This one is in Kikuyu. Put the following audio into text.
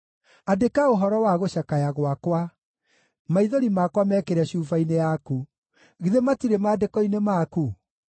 Andĩka ũhoro wa gũcakaya gwakwa; maithori makwa mekĩre cuba-inĩ yaku, githĩ matirĩ maandĩko-inĩ maku?